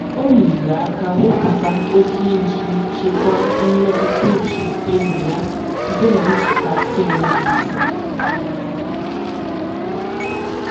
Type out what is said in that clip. O nyere aka wepụta oke iji chekwaa mmetụtauche enyi ya site na nchekasị enweghị isi.